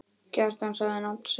Kjartan sagði nafn sitt.